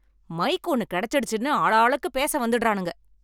mic ஒன்னு கிடைச்சிடுச்சின்னு ஆளாளுக்கு பேச வந்துடுறானுங்க